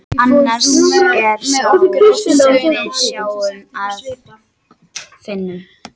Annar er sá sem við sjáum eða finnum.